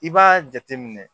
I b'a jateminɛ